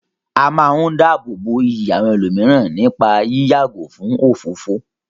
A máa ń dáàbò bo iyì àwọn ẹlòmíràn nípá yí yàgò fún òfófó.